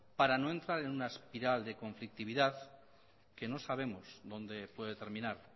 para no entrar en una espiral de conflictividad que no sabemos dónde puede terminar